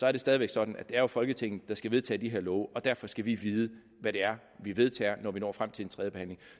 er jo stadig væk sådan at det er folketinget der skal vedtage de her love og derfor skal vi vide hvad det er vi vedtager når vi når frem til en tredje behandling